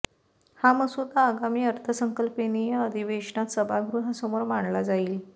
हा मसुदा आगामी अर्थसंकल्पीय अधिवेशनात सभागृहासमोर मांडला जाईल